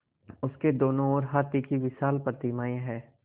उसके दोनों ओर हाथी की विशाल प्रतिमाएँ हैं